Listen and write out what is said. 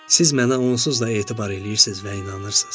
Siz mənə onsuz da etibar eləyirsiz və inanırsız.